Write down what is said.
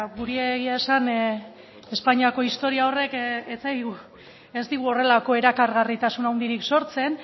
guri egia esan espainiako historia horrek ez digu horrelako erakargarritasun handirik sortzen